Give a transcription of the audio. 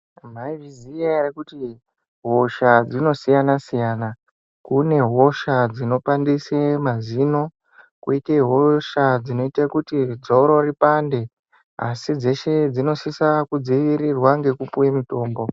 Maizviziya ere kuti hosha dzinosiyana-siyana. Kune hosha dzinopandise mazino, kwoite hosha dzinoite kuti dzoro ripande, asi dzeshe dzinosise kudzivirirwa ngekupuwe mitombo.